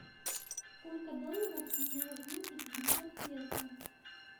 сколько долларов с меня возьмут за пятьдесят песо